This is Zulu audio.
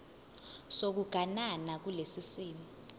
sokuganana kulesi simo